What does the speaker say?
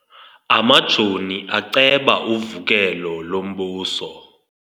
Amajoni aceba uvukelo lombuso.